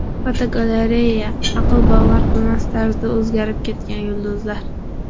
Fotogalereya: Aql bovar qilmas tarzda o‘zgarib ketgan yulduzlar.